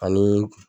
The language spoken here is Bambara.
Ani